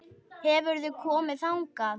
Hefurðu komið þangað?